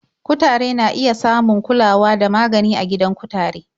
Kutare na iya samun kulawa da magani a gidan kutare.